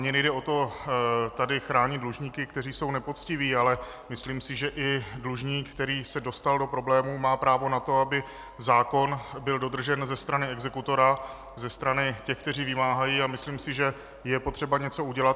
Mně nejde o to, tady chránit dlužníky, kteří jsou nepoctiví, ale myslím si, že i dlužník, který se dostal do problémů, má právo na to, aby zákon byl dodržen ze strany exekutora, ze strany těch, kteří vymáhají, a myslím si, že je potřeba něco udělat.